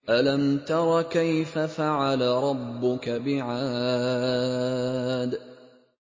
أَلَمْ تَرَ كَيْفَ فَعَلَ رَبُّكَ بِعَادٍ